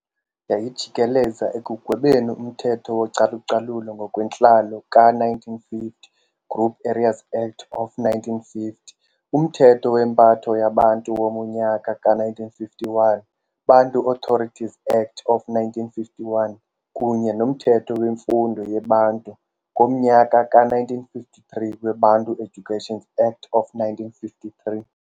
Yayijikeleza ekugwebeni umthetho wocalucalulo ngokwentlalo ka-1950 Group areas Act of 1950, umthetho wempatho yaBantu womnyaka ka-1951 Bantu Authorities Act of 1951 kunye nomthetho wemfundo yeBantu ngomnyaka ka-1953 weBantu Education Act of 1953.